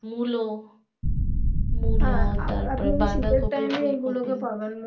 মূলো